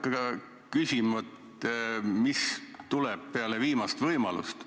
Ma ei hakka küsima, mis tuleb peale viimast võimalust.